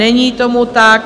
Není tomu tak.